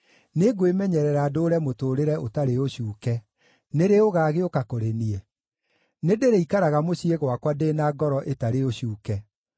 Nĩngwĩmenyerera ndũũre mũtũũrĩre ũtarĩ ũcuuke: nĩ rĩ ũgaagĩũka kũrĩ niĩ? Nĩndĩrĩikaraga mũciĩ gwakwa ndĩ na ngoro ĩtarĩ ũcuuke.